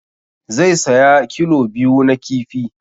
Zai saya kilo biyu na kifi